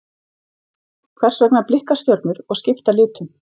Hvers vegna blikka stjörnur og skipta litum?